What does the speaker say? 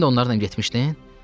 Sən də onlarla getmişdin?